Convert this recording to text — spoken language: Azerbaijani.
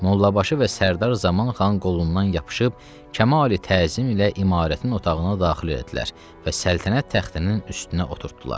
Mollabaşı və Sərdar Zaman xan qolundan yapışıb kamali təzim ilə imarətin otağına daxil elədilər və səltənət taxtının üstünə oturtduılar.